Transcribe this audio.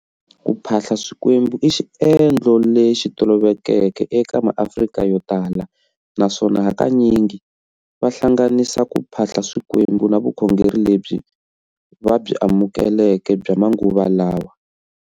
Kuphahla swikwembu i xiendlo lexi tolovelekeke eka ma Afrika yotala, naswona hakanyingi va hlanganisa ku phahla swikwembu na vukhongeri lebyi va byi amukeleke bya manguva lawa.